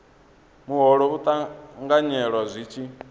muholo u ṱanganyelwa zwi tshi